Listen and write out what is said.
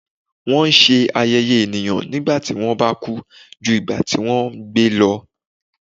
wọn ṣe ayẹyẹ eniyan nígbà tí wọn ba ku ju igba ti wọn gbe lọ